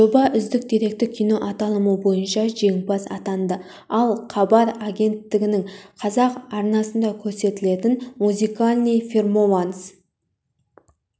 жоба үздік деректі кино аталымы бойынша жеңімпаз атанды ал хабар агенттігінің қазақ арнасында көрсетілетін музыкальный перфоманс